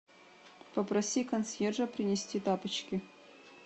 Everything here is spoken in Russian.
попроси консьержа принести тапочки